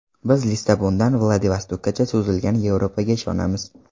Biz Lissabondan Vladivostokkacha cho‘zilgan Yevropaga ishonamiz.